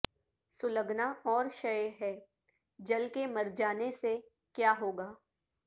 سلگنا اور شئے ہے جل کے مرجانے سے کیا ہوگا